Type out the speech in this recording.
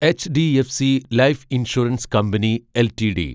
HDFC Life Insurance Company LTD